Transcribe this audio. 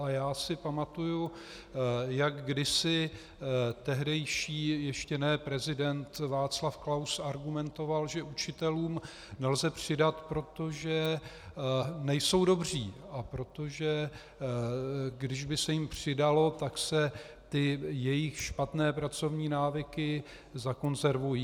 Ale já si pamatuji, jak kdysi tehdejší ještě ne prezident Václav Klaus argumentoval, že učitelům nelze přidat, protože nejsou dobří, a protože když by se jim přidalo, tak se ty jejich špatné pracovní návyky zakonzervují.